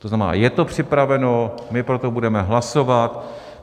To znamená, je to připraveno, my pro to budeme hlasovat.